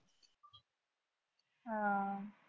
आह